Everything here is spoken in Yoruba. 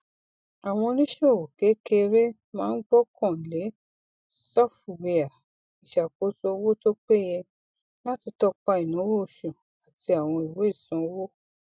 àwọn oníṣòwò kékeré máa ń gbọkan le sọfụwia ìṣàkóso owó tó péye láti tọpa ináwó oṣù àti àwọn ìwé ìsanwó